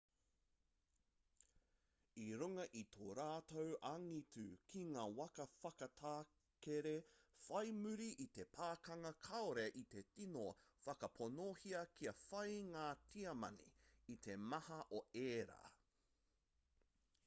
i runga i tō rātou angitu ki ngā waka whakatakere whai muri i te pakanga kāore i te tino whakaponohia kia whai ngā tiamani i te maha o ērā